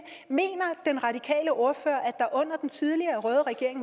mener den radikale ordfører at der under den tidligere røde regering